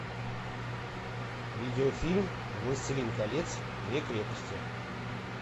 видеофильм властелин колец две крепости